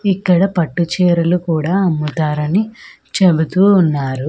ఇక్కడ పట్టు చీరలు కూడా అమ్ముతారని చెబుతూ ఉన్నారు.